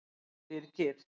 Birgir